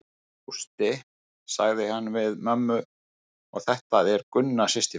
Gústi, sagði hann við mömmu og þetta er Gunna systir mín.